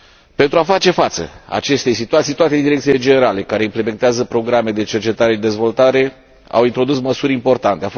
Pentru a face față acestei situații, toate direcțiile generale care implementează programe de cercetare și dezvoltare au introdus măsuri importante.